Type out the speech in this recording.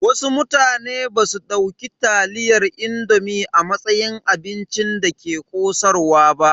Wasu mutane basu dauki taliyar indomi a matsayin abincin da ke ƙosarwa ba.